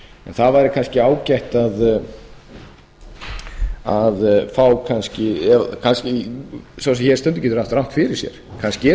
það væri kannski ágætt að fá kannski sá sem hér stendur getur haft rangt fyrir sér kannski eru einhverjir hérna